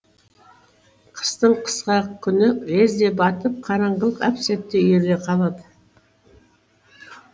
қыстың қысқа күні лезде батып қараңғылық әп сәтте үйіріле қалады